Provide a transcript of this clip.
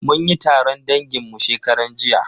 Mun yi taron dangin mu shekaran jiya.